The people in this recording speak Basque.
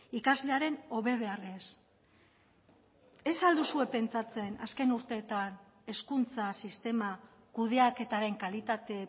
ikaslearen hobe beharrez ez al duzue pentsatzen azken urteetan hezkuntza sistema kudeaketaren kalitate